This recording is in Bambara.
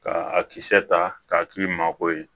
Ka a kisɛ ta k'a k'i mako ye